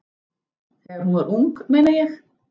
Þegar hún var ung, meina ég.